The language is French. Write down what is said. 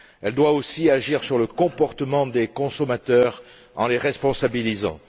Elle doit aussi agir sur le comportement des consommateurs en les responsabilisant.